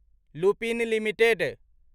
Lupin limited